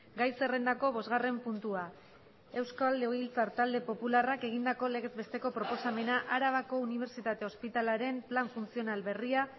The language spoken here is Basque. gai zerrendako bosgarren puntua euskal legebiltzar talde popularrak egindako legez besteko proposamena arabako unibertsitate ospitalearen plan funtzional berria